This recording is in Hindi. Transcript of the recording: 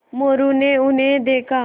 मोरू ने उन्हें देखा